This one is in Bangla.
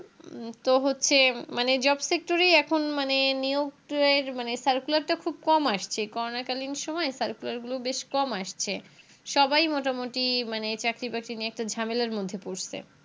উম তো হচ্ছে মানে Job sector এ এখন মানে নিযুক্তের মানে Circular টা খুব কম আসছে Corona কালীন সময়ে Circular গুলো বেশ কম আসছে সবাই মোটামুটি মানে চাকরি প্রার্থী নিয়ে একটা ঝামেলার মধ্যে পড়ছে